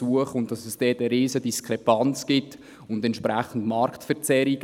Da gibt es eine riesen Diskrepanz und entsprechende Marktverzerrungen.